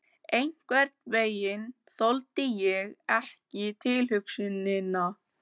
Einhvern veginn þoldi ég ekki tilhugsunina.